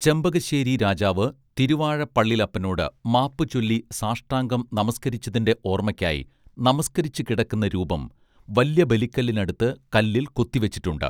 ചെമ്പകശ്ശേരി രാജാവ് തിരുവാഴപ്പള്ളിലപ്പനോട് മാപ്പുചൊല്ലി സാഷ്ടാംഗം നമസ്കരിച്ചതിന്റെ ഓർമ്മക്കായി നമസ്കരിച്ചുകിടക്കുന്ന രൂപം വല്ല്യബലിക്കല്ലിനടുത്ത് കല്ലിൽ കൊത്തിവെച്ചിട്ടുണ്ട്